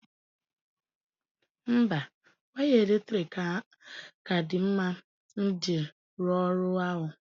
Mba, waya eletrik ka dị mma iji rụọ ọrụ ahụ